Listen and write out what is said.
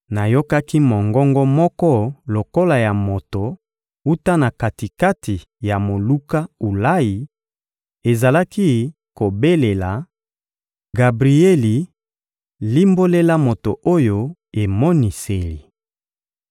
Nayokaki mongongo moko lokola ya moto wuta na kati-kati ya moluka Ulayi; ezalaki kobelela: — Gabrieli, limbolela moto oyo emoniseli.